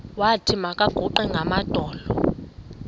wathi makaguqe ngamadolo